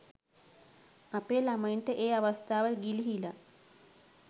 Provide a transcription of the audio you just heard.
අපේ ලමයින්ට ඒ අවස්ථාව ගිලිහිලා.